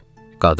Qadın.